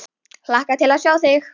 Hlakka til að sjá þig.